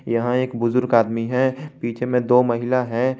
यहां एक बुजुर्ग आदमी है पीछे में दो महिला हैं।